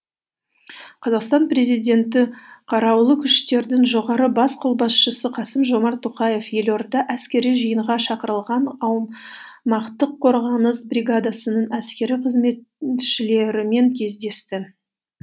қазақстан президенті күштердің бас қолбасшысы қасым жомарт тоқаев елордада әскери жиынға шақырылған аумақтық қорғаныс бригадасының әскери қызметшілерімен кездесті